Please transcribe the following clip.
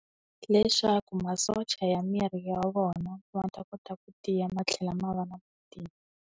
Leswaku masocha ya miri ya vona, va ta kota ku tiya matlhela ma va na .